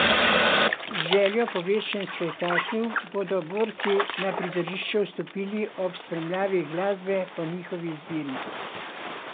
Z željo po večjem spektaklu, bodo borci na prizorišče vstopili ob spremljavi glasbe po njihovi izbiri.